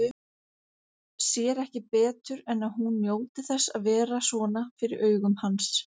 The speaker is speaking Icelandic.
Sér ekki betur en að hún njóti þess að vera svona fyrir augum hans.